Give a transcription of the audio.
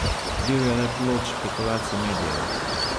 Bil je le plod špekulacij medijev.